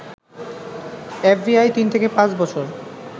FBI তিন থেকে পাঁচ বছর